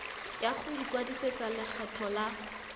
ya go ikwadisetsa lekgetho la